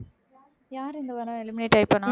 யாரு இந்த வாரம் eliminate ஆயி போனா